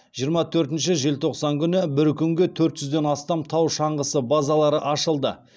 жиырма төртінші желтоқсан күні бір күнге төрт жүзден астам тау шаңғысы базалары ашылды